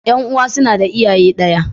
Ƴan'uwa suna da iyaye ɗaya.